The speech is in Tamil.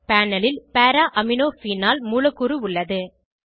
பேனல் ல் பாரா அமினோ ஃபீனால் மூலக்கூறு உள்ளது